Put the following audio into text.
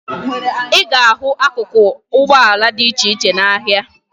Ị ga-ahụ akụkụ ụgbọala dị iche iche n'ahịa